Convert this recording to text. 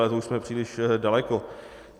Ale to už jsme příliš daleko.